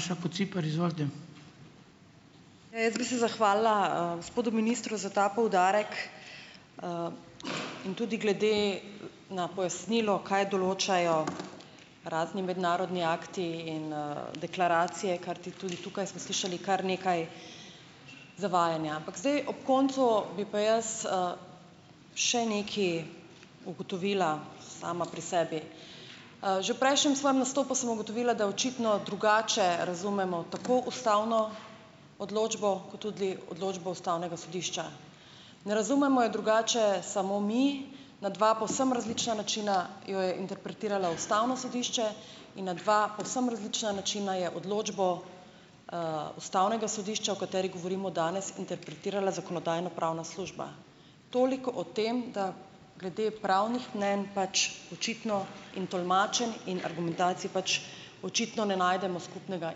Maša Kociper, izvolite. Jaz bi se zahvalila, gospodu ministru za ta poudarek, in tudi glede na pojasnilo, kaj določajo razni mednarodni akti in, deklaracije, ker ti tudi tukaj smo slišali kar nekaj zavajanja, ampak zdaj ob koncu bi pa jaz, še nekaj ugotovila, sama pri sebi, že v prejšnjem svojem nastopu sem ugotovila, da očitno drugače razumemo tako ustavno odločbo kot tudi odločbo ustavnega sodišča, ne razumemo je drugače samo mi, na dva povsem različna načina jo je interpretiralo ustavno sodišče in na dva povsem različna načina je odločbo, ustavnega sodišča, o kateri govorimo danes, interpretirala zakonodajno-pravna služba, toliko o tem, da glede pravnih mnenj pač očitno in tolmačenj in argumentacij pač očitno ne najdemo skupnega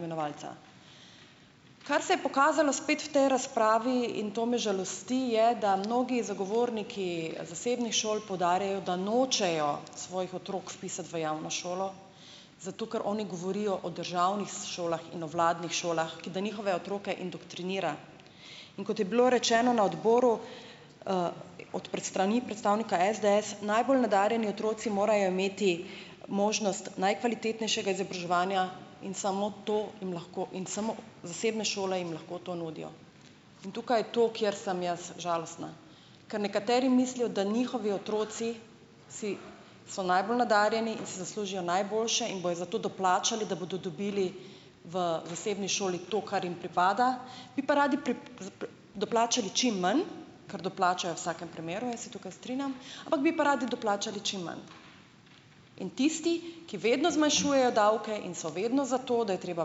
imenovalca. Kar se je pokazalo spet v tej razpravi, in to me žalosti, je, da mnogi zagovorniki zasebnih šol poudarjajo, da nočejo svojih otrok vpisati v javno šolo, zato ker oni govorijo o državnih šolah in o vladnih šolah, ki da njihove otroke indoktrinira, in kot je bilo rečeno na odboru, od strani predstavnika SDS, najbolj nadarjeni otroci morajo imeti možnost najkvalitetnejšega izobraževanja in samo to jim lahko in samo zasebne šole jim lahko to nudijo, in tukaj je to, kjer sem jaz žalostna, ker nekateri mislijo, da njihovi otroci si so najbolj nadarjeni in si zaslužijo najboljše in bodo zato doplačali, da bodo dobili v zasebni šoli to, kar jim pripada, bi pa radi doplačali čim manj, kar doplačajo v vsakem primeru, in se tukaj strinjam, ampak bi pa radi doplačali čim manj, in tisti, ki vedno zmanjšujejo davke in so vedno za to, da je treba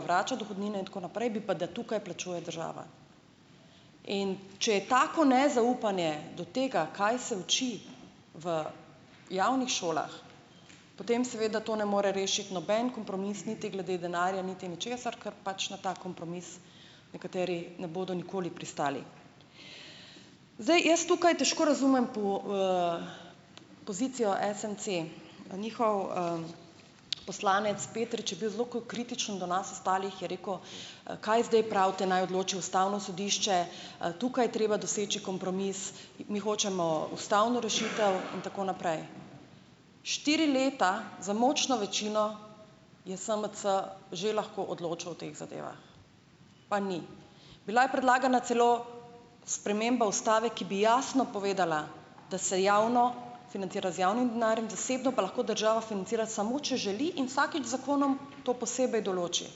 vračati dohodnine tako naprej, bi pa, da tukaj plačuje država, in če je tako nezaupanje do tega, kaj se uči v javnih šolah, potem seveda to ne more rešiti noben kompromis niti glede denarja niti ničesar, kar pač na ta kompromis nekateri ne bodo nikoli pristali, zdaj, jaz tukaj težko razumem po, pozicijo SMC, njihov, poslanec Petrič je bil zelo kritičen do nas ostalih, je rekel: kaj zdaj pravite, naj odloči ustavno sodišče, tukaj treba doseči kompromis, mi hočemo ustavno rešitev in tako naprej." Štiri leta z močno večino je SMC že lahko odločal o teh zadevah, pa ni, bila je predlagana celo sprememba ustave, ki bi jasno povedala, da se javno financira z javnim denarjem, zasebno pa lahko država financira samo, če želi in vsakič z zakonom to posebej določi,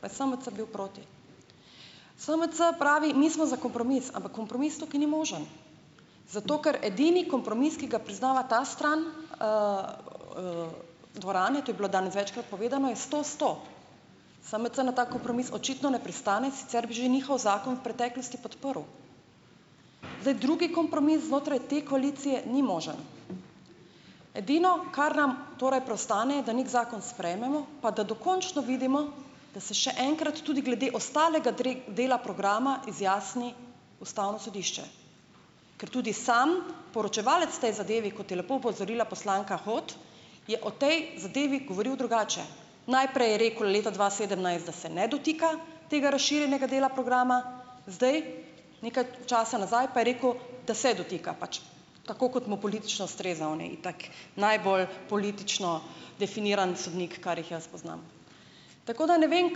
pa je SMC bil proti. SMC pravi: "Mi smo za kompromis, ampak kompromis tukaj ni možen zato, ker edini kompromis, ki ga priznava ta stran, dvorani, to je bilo danes večkrat povedano, je sto sto." SMC na ta kompromis očitno ne pristane, sicer bi že njihov zakon v preteklosti podprl, zdaj, drugi kompromis znotraj te koalicije ni možen, edino, kar nam torej preostane, da neki zakon sprejmemo pa da dokončno vidimo, da se še enkrat tudi glede ostalega dela programa izjasni ustavno sodišče, ker tudi sam poročevalec v tej zadevi, kot je lepo opozorila poslanka Hot, je o tej zadevi govoril drugače, najprej je rekel, leta dva sedemnajst, da se ne dotika tega razširjenega dela programa, zdaj, nekaj časa nazaj pa je rekel, da se dotika pač tako, kot mu politično ustreza, on je itak najbolj politično definiran sodnik, kar jih jaz poznam, tako da ne vem,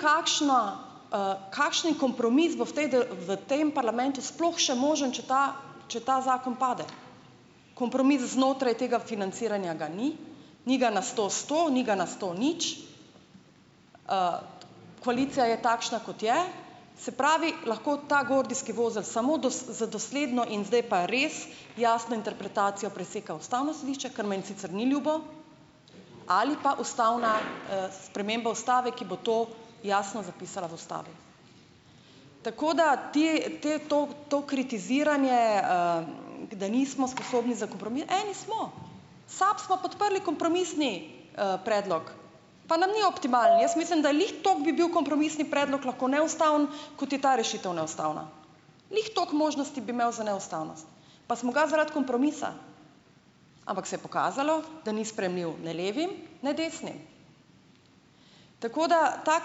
kakšno, kakšni kompromis bo v tej v tem parlamentu sploh še možen, če ta, če ta zakon pade, kompromis znotraj tega financiranja, ga ni, ni ga, na sto sto, ni ga na sto nič. koalicija je takšna, kot je, se pravi, lahko ta gordijski vozel samo za dosledno in zdaj pa res jasno, interpretacija preseka ustavno sodišče, kar meni sicer ni ljubo, ali pa ustavna, sprememba ustave, ki bo to jasno zapisala v ustavi, tako da ti te to to kritiziranje, da nismo sposobni za kompromis, eni smo, SAB smo podprli kompromisni, predlog, pa nam ni optimalen, jaz mislim, da glih toliko bi bil kompromisni predlog lahko neustaven, kot je ta rešitev neustavna, glih toliko možnosti bi imel za neustavnost, pa smo ga zaradi kompromisa, ampak se je pokazalo, da ni sprejemljiv ne levi ne desni, tako da ta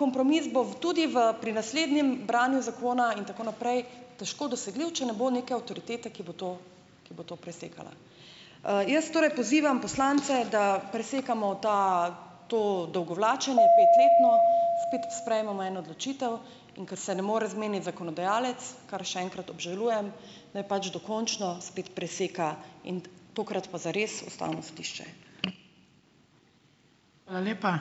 kompromis bo tudi v pri naslednjem branju zakona in tako naprej težko dosegljiv, če ne bo neke avtoritete, ki bo to, ki bo to presekala, jaz torej pozivam poslance, da presekamo ta to dolgo vlačenje petletno, spet sprejmemo eno odločitev, in ker se ne more zmeniti zakonodajalec, kar še enkrat obžalujem, naj pač dokončno spet preseka, tokrat pa zares, ustavno sodišče. Hvala lepa.